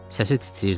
Səsi titrəyirdi.